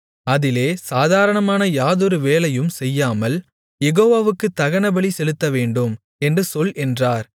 அதிலே சாதாரணமான யாதொரு வேலையும் செய்யாமல் யெகோவாவுக்குத் தகனபலி செலுத்தவேண்டும் என்று சொல் என்றார்